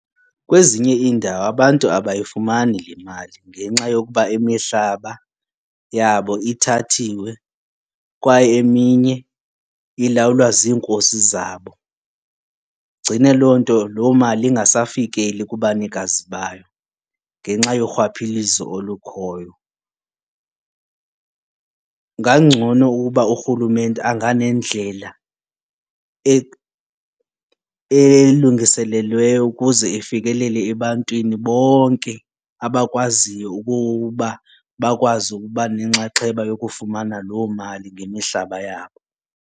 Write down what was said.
Kwezinye iindawo abantu abayifumani le mali ngenxa yokuba imihlaba yabo ithathiwe kwaye eminye ilawulwa ziinkosi zabo. Igcine loo loo mali ingasafikeli kubanikazi bayo ngenxa yorhwaphilizo olukhoyo. Kungangcono ukuba urhulumente anganendlela elungiselelweyo ukuze ifikelele ebantwini bonke abakwaziyo ukuba bakwazi ukuba nenxaxheba yokufumana loo mali ngemihlaba yabo.